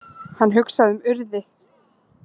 Hann hugsaði um Urði.